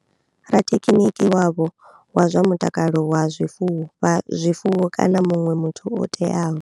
Rathekhiniki wavho wa zwa mutakalo wa zwifuwo, zwifuwo kana muṋwe muthu o teaho.